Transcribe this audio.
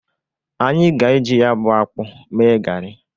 Anyị ga-e jị ya bụ akpụ mee gari.